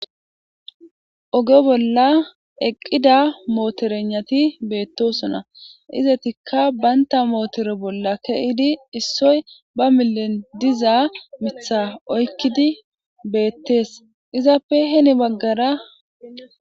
oge bolla eqqida mootorenati beettosona izatikka baynta mootoro bolla keyidi issoy ba milen dizaa mitha oykkidi beettees izappe heni baggara